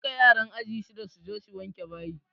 Duka yaran aji shiɗa su je su wanke bayi!